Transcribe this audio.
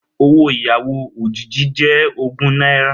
Owó ìyàwó òjìji jẹ́ ogún náírà